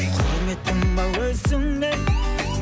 құрметтім ау өзіңнен